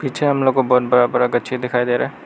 पीछे हम लोग को बहुत बड़ा बड़ा गछी दिखाई दे रहा है।